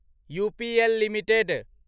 UPL limited